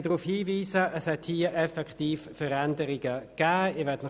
Es hat tatsächlich Veränderungen gegeben.